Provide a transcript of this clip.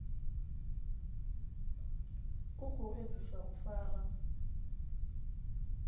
u khou edzisa u fara